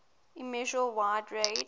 immeasurable wide range